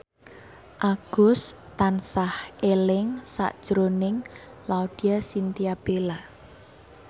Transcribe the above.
Agus tansah eling sakjroning Laudya Chintya Bella